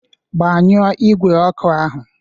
Gbanyụọ igwe oku ahu.